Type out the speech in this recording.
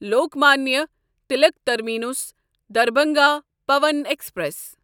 Lokmanya Tilak terminus Darbhanga Pawan express